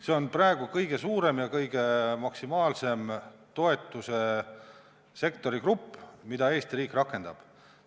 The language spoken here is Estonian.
See on praegu kõige suurem ja maksimaalne sektori toetusegrupp, mida Eesti riik rakendab.